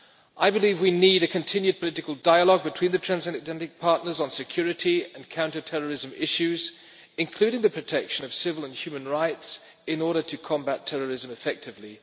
I believe we need a continued political dialogue between the Transatlantic partners on security and counterterrorism issues, including on the protection of civil and human rights, in order to combat terrorism effectively.